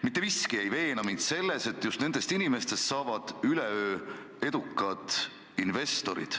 Mitte miski ei veena mind selles, et just nendest inimestest saavad üleöö edukad investorid.